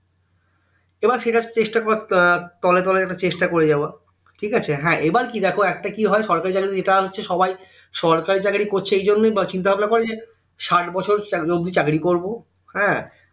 এবার সেটা চেষ্টা করবে তলে তলে সেটা চেষ্টা করে যাবা ঠিকাছে উম এবার কি দেখো একটা কি হয় সরকারি চাকরী যেটা হচ্ছে সবাই সরকারি চাকরি করছে এই জন্যই বা চিন্তা ভাবনা করে যে ষাইট বছর অব্দি চাকরি করব উম